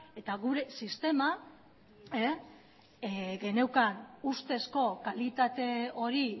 eta gure sistema geneukan ustezko kalitate hori